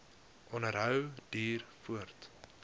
onderhou duur voort